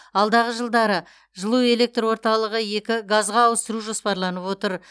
алдағы жылдары жылу электр орталығы екі газға ауыстыру жоспарланып отыр